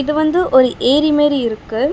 இது வந்து ஒரு ஏரி மாரி இருக்கு.